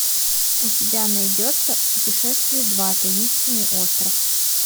у тебя найдется путешествие два таинственный остров